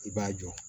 I b'a jɔ